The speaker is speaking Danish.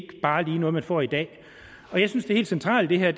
noget man får i dag og jeg synes det helt centrale i det her